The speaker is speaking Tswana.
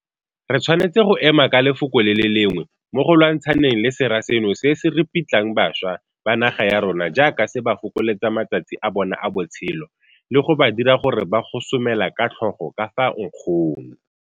Re tshwanetse go ema ka lefoko le le lengwe mo go lwantshaneng le sera seno se se ripitlang bašwa ba naga ya rona jaaka se ba fokoletsa matsatsi a bona a botshelo, le go ba dira gore ba gosomela ka tlhogo ka fa nkgong.